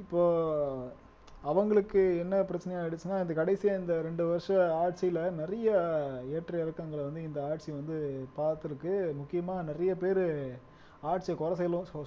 இப்போ அவங்களுக்கு என்ன பிரச்சனை ஆயிடுச்சுன்னா இந்த கடைசியா இந்த ரெண்டு வருஷ ஆட்சியில, நிறைய ஏற்ற இறக்கங்களை வந்து இந்த ஆட்சி வந்து பாத்துருக்கு முக்கியமா நிறைய பேரு ஆட்சியை கொலை